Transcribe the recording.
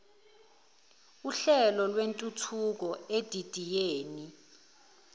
uhlelo lwentuthuko edidiyele